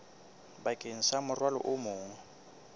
bakeng sa morwalo o mong